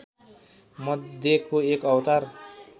मध्यको एक अवतार